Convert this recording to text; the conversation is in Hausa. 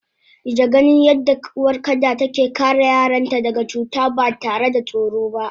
Ijaganin yadda uwar kada take kare yaranta daga cuta batare da tsoro ba